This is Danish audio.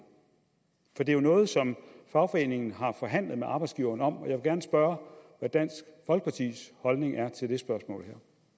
for det er jo noget som fagforeningen har forhandlet med arbejdsgiveren om jeg vil gerne spørge hvad dansk folkepartis holdning er til det her spørgsmål